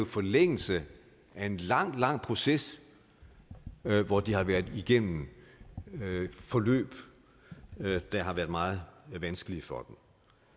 forlængelse af en lang lang proces hvor de har været igennem forløb der har været meget vanskelige for